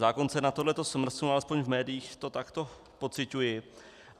Zákon se na tohle smrsknul, alespoň v médiích to takto pociťuji.